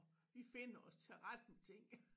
Vi finder os til rette med ting